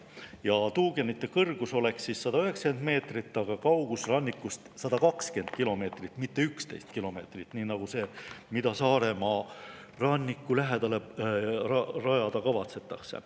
Ja tuugenite kõrgus on 190 meetrit, aga kaugus rannikust 120 kilomeetrit, mitte 11 kilomeetrit, nii nagu see, mida Saaremaa ranniku lähedale rajada kavatsetakse.